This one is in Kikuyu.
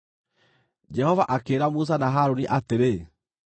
Jehova akĩĩra Musa na Harũni atĩrĩ,